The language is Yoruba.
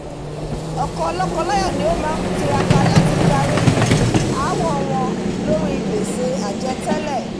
ọ̀pọ̀ lọ́kọ láyà ni ó má tiraka láti parí aáwọ̀ wọn lóri gbèsè àjẹ tẹ́lẹ̀